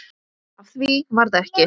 Af því varð ekki.